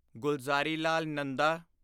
Gulzarilal Nanda